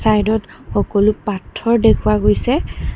চাইডত সকলো পাথৰ দেখুওৱা গৈছে।